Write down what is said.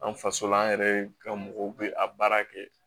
An faso la an yɛrɛ ka mɔgɔw bɛ a baara kɛ